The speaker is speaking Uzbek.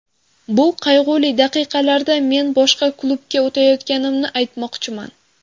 Bu qayg‘uli daqiqalarda men boshqa klubga o‘tayotganimni aytmoqchiman.